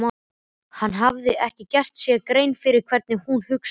Hann hafði ekki gert sér grein fyrir hvernig hún hugsaði.